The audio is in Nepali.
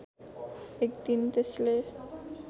एक दिन त्यसले